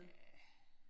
Ja